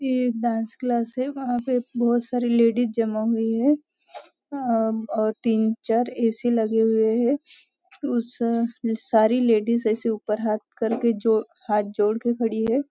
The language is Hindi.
यह एक डांस क्लास है वहाँ पे बहुत सारी लेडीज जमा हुई है ओ और तीन चार ए.सी. लगे हुए है उस सारी लेडीज ऐसे ऊपर हाथ करके हाथ जोड़कर खड़ी है।